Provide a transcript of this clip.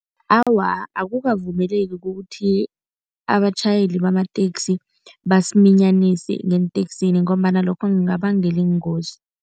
Awa, akukavumeleki kukuthi abatjhayeli bamateksi basiminyanise ngeenteksini ngombana lokho kungabangela iingozi.